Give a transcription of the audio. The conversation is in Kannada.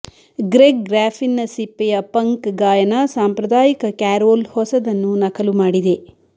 ಗ್ರೆಗ್ ಗ್ರಾಫಿನ್ನ ಸಿಪ್ಪೆಯ ಪಂಕ್ ಗಾಯನ ಸಾಂಪ್ರದಾಯಿಕ ಕ್ಯಾರೋಲ್ ಹೊಸದನ್ನು ನಕಲು ಮಾಡಿದೆ